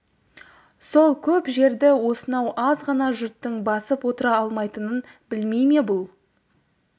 сол көп жерді осынау аз ғана жұрттың басып отыра алмайтынын білмей ме бұл